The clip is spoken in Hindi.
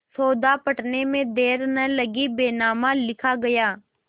सौदा पटने में देर न लगी बैनामा लिखा गया